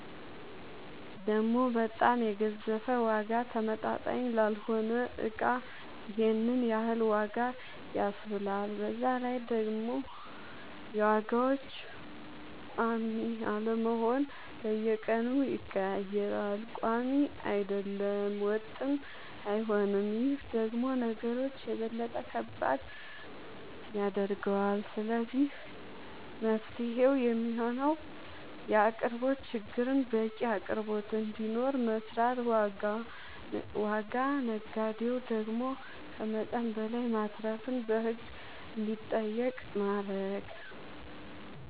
ደሞ በጣም የገዘፈ ዋጋ ተመጣጣኝ ላልሆነ እቃ ይሄንን ያክል ዋጋ ያስብላል በዛላይ ደሞ የዋጋዎች ቆሚ አለመሆን በየቀኑ ይቀያየራል ቆሚ አይደለም ወጥም አይሆንም ይሄ ደሞ ነገሮች የበለጠ ከባድ ያደርገዋል ስለዚህ መፍትሄው የሚሆነው የአቅርቦት ችግርን በቂ አቅርቦት እንዲኖር መስራት ዋጋ ነጋዴው ደሞ ከመጠን በላይ ማትረፍን በህግ እንዲጠየቅ ማረግ